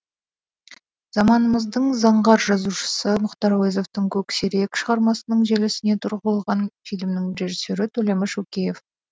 заманымыздың заңғар жазушысы мұхтар әуезовтың көксерек шығармасының желісіне тұрылған фильмнің режиссері төлеміш өкеев